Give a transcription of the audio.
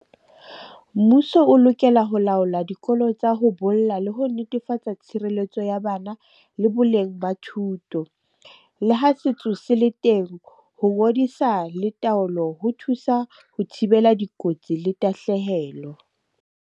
Mmuso o lokela ho laola dikolo tsa ho bolla le ho netefatsa tshireletso ya bana, le boleng ba thuto. Le ha setso se le teng, ho ngodisa le taolo ho thusa ho thibela dikotsi le tahlehelo.